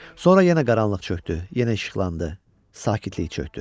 Sonra yenə qaranlıq çökdü, yenə işıqlandı, sakitlik çökdü.